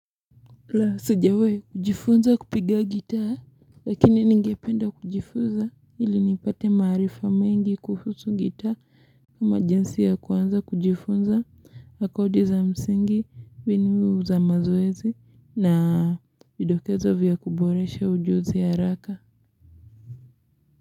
La sijawai kujifunza kupiga gitaa lakini ningependa kujifunza ili nipate maarifa mengi kuhusu gitaa emergency ya kuanza kujifunza na kodi za msingi mbinu za mazoezi na vidokezo vya kuboresha ujuzi ya raka.